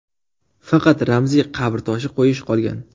Faqat ramziy qabr toshi qo‘yish qolgan.